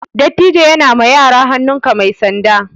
Dattijo ya na ma yara hannun ka mai sanda